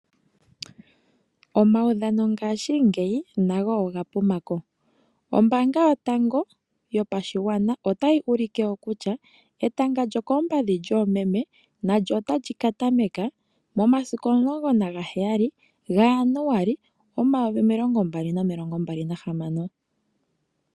Omaudhano ngashingeyi nago oga pumako. Ombaanga yotango yopashigwana otayi ulike wo kutya, etanga lyokoompadhi lyoomeme, nalyo ota li ka tameka momasiku omulongo nagaheyali gaJanuali omayovi omilongo mbali nomilongo mbali nahamano.